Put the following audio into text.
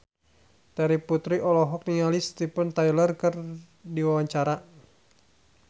Terry Putri olohok ningali Steven Tyler keur diwawancara